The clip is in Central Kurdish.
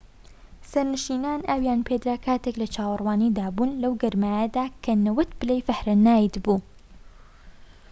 سەرنشینان ئاویان پێدرا کاتێك لە چاوەڕوانیدا بوون لەو گەرمایەدا کە 90 پلەی فاهەنایت بوو